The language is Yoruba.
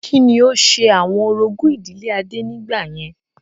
Kí ni ó ṣe àwọn orogún ìdílé adé nígbà yẹn?